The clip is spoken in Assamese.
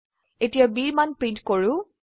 এতিয়া bৰ মান প্ৰিন্ট কৰো